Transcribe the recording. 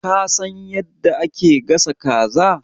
Ka san yadda ake gasa kaza?